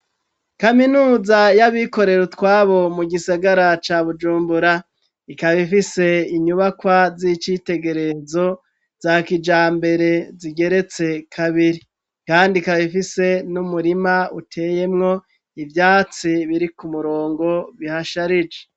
Kaminuza y'abikorera utwabo mu gisigara ca bujumbura ikaba ifise inyubakwa z'icitegerezo za kijambere zigeretse kabiri kandi kaba ifise n'umurima uteyemwo ivyatsi biri ku murongo bihasharije.